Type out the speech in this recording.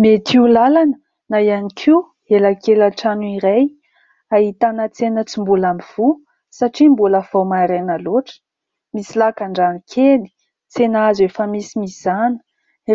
Mety ho lalana na ihany koa elakelan-trano iray, ahitana tsena tsy mbola mivoha satria mbola vao maraina loatra. Misy lakan-drano kely, tsena hazo efa misy mizana.